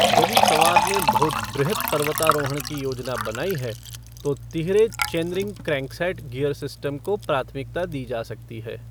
यदि सवार ने बहुत बृहत् पर्वतारोहण की योजना बनाई है, तो तिहरे चेनरिंग क्रैंकसेट गियर सिस्टम को प्राथमिकता दी जा सकती है।